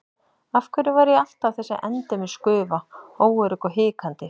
Af hverju var ég alltaf þessi endemis gufa, óörugg og hikandi?